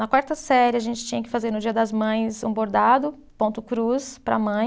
Na quarta série, a gente tinha que fazer no dia das mães um bordado, ponto cruz, para a mãe.